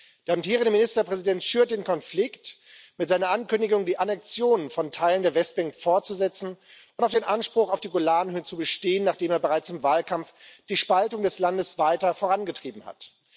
Der amtierende Ministerpräsident schürt den Konflikt mit seiner Ankündigung, die Annexion von Teilen der Westbank fortzusetzen und auf dem Anspruch auf die Golanhöhen zu bestehen, nachdem er bereits im Wahlkampf die Spaltung des Landes weiter vorangetrieben hat.